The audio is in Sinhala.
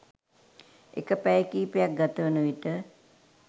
එක පැය කිහිපයක් ගතවන විට